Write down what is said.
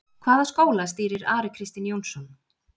Hvaða skóla stýrir Ari Kristinn Jónsson?